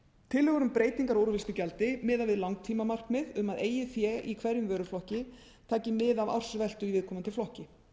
tillögur um breytingar á úrvinnslugjaldi miða við langtímamarkmið um að eigið fé í hverjum vöruflokki taki mið af ársveltu í viðkomandi flokki